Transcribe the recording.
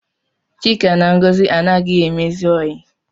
Chika na Ngọzi anaghị emezi oyi